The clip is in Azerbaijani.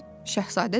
Şahzadə dedi.